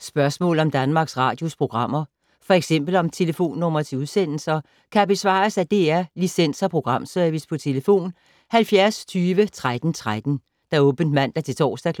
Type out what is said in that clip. Spørgsmål om Danmarks Radios programmer, f.eks. om telefonnumre til udsendelser, kan besvares af DR Licens- og Programservice: tlf. 70 20 13 13, åbent mandag-torsdag 9.00-16.30,